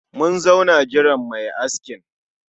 Mun zauna jiran mai askin